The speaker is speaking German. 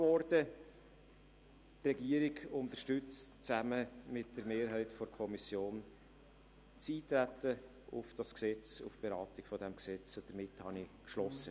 Die Regierung unterstützt zusammen mit der Mehrheit der FiKo das Eintreten auf die Beratung dieses Gesetzes.